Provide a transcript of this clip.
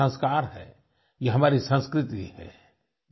ये हमारे संस्कार हैं ये हमारी संस्कृति है